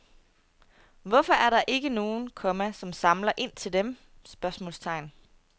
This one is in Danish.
Hvorfor er der ikke nogen, komma som samler ind til dem? spørgsmålstegn